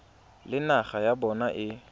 le naga ya bona e